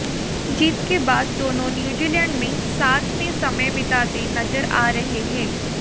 जीत के बाद दोनों न्यूजीलैंड में साथ में समय बिताते नजर आ रहे हैं